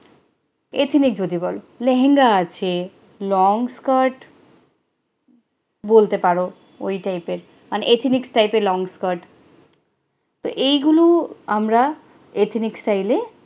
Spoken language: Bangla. ehnic যদি বলো লেহেঙ্গা আছে long skirt বলতে পারো ওই type এ ethnic type এ long skirt এইগুলো আমরা ethnic type এ